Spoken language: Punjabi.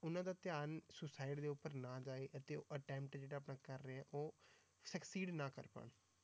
ਉਹਨਾਂ ਦਾ ਧਿਆਨ suicide ਦੇ ਉੱਪਰ ਨਾ ਜਾਏ ਅਤੇ ਉਹ attempt ਜਿਹੜਾ ਆਪਣਾ ਕਰ ਰਿਹਾ ਉਹ succeed ਨਾ ਕਰ ਪਾਉਣ।